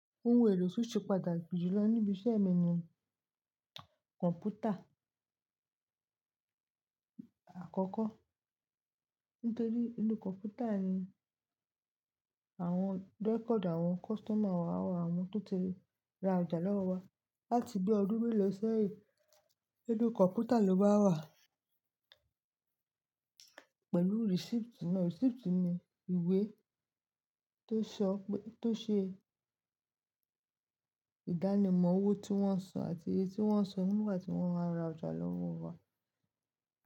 Ó ń wèrè ó sì padà gbijùlọ́ níbi iṣẹ́ ìmọ̀ ní kọ̀npútà àkọ́kọ́. Nítorí inú kọ̀npútà ni àwọn record àwọn customer wa wà, àwọn tó ti ra ọjà lọ́wọ́ wa. Láti bí ọdún mélòó sẹ́yìn, inú kọ̀npútà ló ma wà pẹ̀lú receipt. Receipt ni ìwé tó ṣe ìdánimọ̀ owó tí wọ́n san àti iye tí wọ́n san nígbà tí wọ́n máa ra ọjà lọ́wọ́ wa.